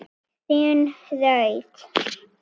Þín Hrund.